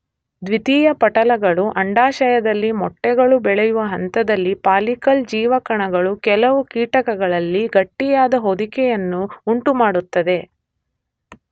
ದ್ವಿತೀಯ ಪಟಲಗಳು, ಅಂಡಾಶಯದಲ್ಲಿ ಮೊಟ್ಟೆಗಳು ಬೆಳೆಯುವ ಹಂತದಲ್ಲಿ ಫಾಲಿಕಲ್ ಜೀವಕಣಗಳು ಕೆಲವು ಕೀಟಗಳಲ್ಲಿ ಗಟ್ಟಿಯಾದ ಹೊದಿಕೆಗಳನ್ನು ಉಂಟುಮಾಡುತ್ತವೆ.